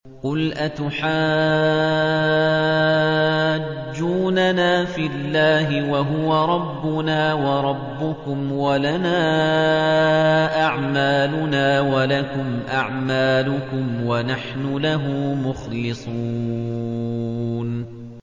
قُلْ أَتُحَاجُّونَنَا فِي اللَّهِ وَهُوَ رَبُّنَا وَرَبُّكُمْ وَلَنَا أَعْمَالُنَا وَلَكُمْ أَعْمَالُكُمْ وَنَحْنُ لَهُ مُخْلِصُونَ